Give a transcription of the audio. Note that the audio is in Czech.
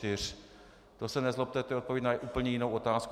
To se nezlobte, to je odpověď na úplně jinou otázku.